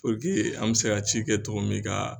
an bɛ se ka ci kɛ cɔgɔ min ka